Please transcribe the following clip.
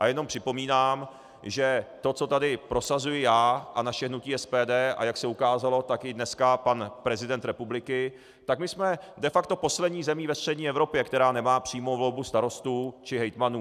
A jenom připomínám, že to, co tady prosazuji já a naše hnutí SPD, a jak se ukázalo, tak i dneska pan prezident republiky, tak my jsme de facto poslední zemí ve střední Evropě, která nemá přímou volbu starostů či hejtmanů.